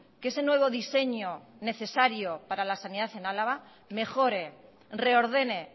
que ese nuevo diseño necesario para la sanidad en álava mejore reordene